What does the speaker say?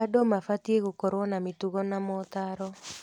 Andũ mabatiĩ gũkorwo na mĩtugo na motaaro.